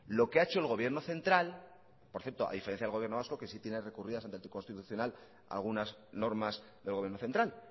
lo que ha hecho el gobierno central por cierto a diferencia del gobierno vasco que sí tiene recurridas ante el tribunal constitucional algunas normas del gobierno central